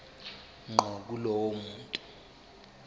ngqo kulowo muntu